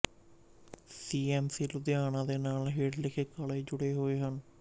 ਸੀ M C Ludhiana ਦੇ ਨਾਲ ਹੇਠ ਲਿਖੇ ਕਾਲਜ ਜੁੜੇ ਹੋਏ ਹਨ